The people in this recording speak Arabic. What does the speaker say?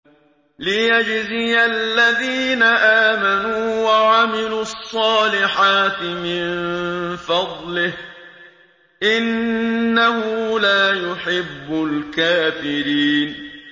لِيَجْزِيَ الَّذِينَ آمَنُوا وَعَمِلُوا الصَّالِحَاتِ مِن فَضْلِهِ ۚ إِنَّهُ لَا يُحِبُّ الْكَافِرِينَ